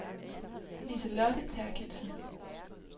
Liselotte Therkildsen